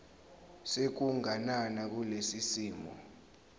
sokuganana kulesi simo